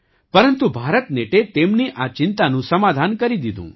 પરંતુ ભારતનેટે તેમની આ ચિંતાનું સમાધાન કરી દીધું